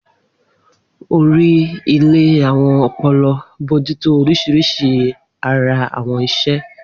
Ori ile awọn ọpọlọ, bojuto orisirisi bodily awọn iṣẹ.